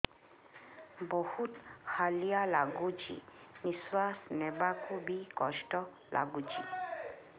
ବହୁତ୍ ହାଲିଆ ଲାଗୁଚି ନିଃଶ୍ବାସ ନେବାକୁ ଵି କଷ୍ଟ ଲାଗୁଚି